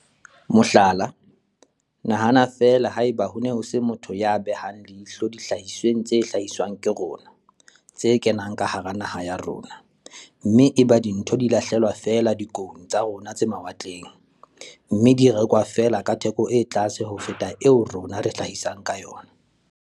Mohlala, nahana feela ha eba ho ne ho se motho ya behang leihlo dihlahisweng tse hlahiswang ke rona, tse kenang ka hara naha ya rona, mme eba dintho di 'lahlelwa' feela dikoung tsa rona tse mawatleng, mme di rekwa feela ka theko e tlase ho feta eo rona re hlahisang ka yona?